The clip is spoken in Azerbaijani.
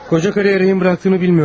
Qoca qadını rəhmətə getdiyini bilmirdim.